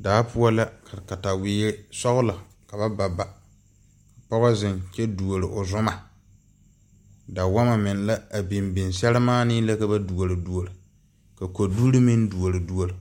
Daa pou la ka katawei sɔglo ka ba ba ba ka pɔgo zeng kye duuri ɔ zuma dawama meng la a bing bing sarimaane la ka duori duori ka koduri ming duori duori